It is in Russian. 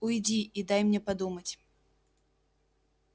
уйди и дай мне подумать